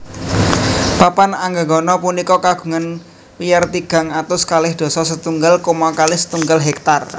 Papan Anggegana punika kagungan wiyar tigang atus kalih dasa setunggal koma kalih setunggal hektar